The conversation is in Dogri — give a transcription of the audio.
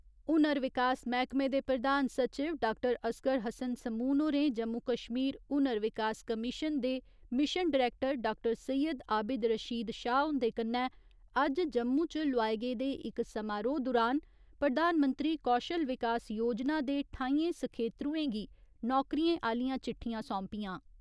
हुनर विकास मैह्कमे दे प्रधान सचिव डाक्टर असगर हस्सन समून होरें जम्मू कश्मीर हुनर विकास कमीशन दे mission director doctor Syed Abid Rashid Shah हुंदे कन्नै अज्ज जम्मू च लोआए गेदे इक समारोह दुरान प्रधानमंत्री कौशल विकास योजना दे ठाइयें सखेत्रुएं गी नौकरियें आह्‌लियां चिट्ठियां सौंपियां।